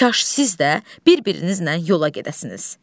Kaş siz də bir-birinizlə yola gedəsiniz.